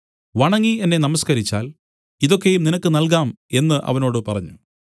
വണങ്ങി എന്നെ നമസ്കരിച്ചാൽ ഇതൊക്കെയും നിനക്ക് നൽകാം എന്നു അവനോട് പറഞ്ഞു